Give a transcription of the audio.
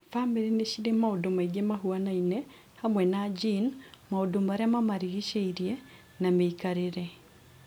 Bamĩrĩ nĩ cirĩ maundũ maingĩ mahuanaine, hamwe na gene, maũndũ marĩa mamarigicĩirie na mĩikarĩre.